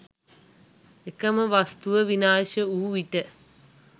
එකම වස්තුව විනාශ වු විට